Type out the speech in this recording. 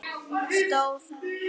stóð þar.